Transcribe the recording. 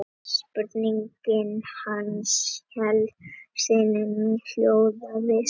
Spurning hans í heild sinni hljóðaði svona: